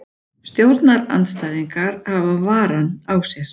Stjórnarandstæðingar hafa varann á sér